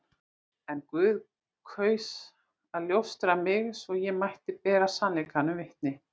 En Guð kaus að ljósta mig, svo ég mætti bera sannleikanum vitni.